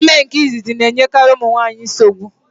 Ime nke izizi na-enyekari nwaanyị nsogbu.